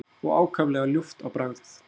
og ákaflega ljúft á bragðið.